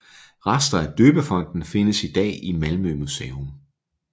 Rester af døbefonten findes i dag i Malmö Museum